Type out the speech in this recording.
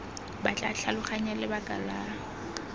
ba tla tlhaloganya lebaka la